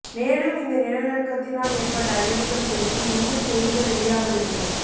மேலும் இந்த நிலநடுக்கத்தினால் ஏற்பட்ட அழிவுகள் குறித்து இன்னும் செய்திகள் வெளியாகவில்லை